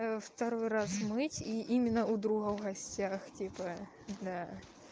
второй раз мыть и именно у друга в гостях типа да